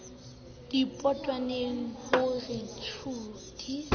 dipotongwane ho re tshiu di